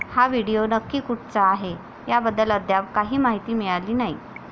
हा व्हिडिओ नक्की कुठचा आहे याबद्दल अद्याप काही माहिती मिळाली नाही.